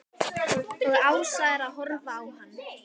Og Ása er að horfa á hann.